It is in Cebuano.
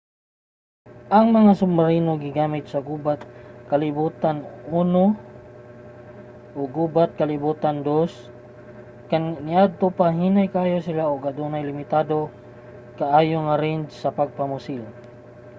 ang mga submarino gigamit sa gubat sa kalibutan i ug gubat sa kalibutan ii. niadto pa hinay kaayo sila ug adunay limitado kaayo nga range sa pagpamusil